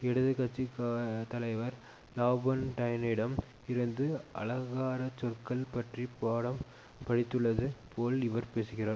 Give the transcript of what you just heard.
இடது கட்சி தலைவர் லாபொன்டைனிடம் இருந்து அலங்கார சொற்கள் பற்றி பாடம் படித்துள்ளது போல் இவர் பேசுகிறார்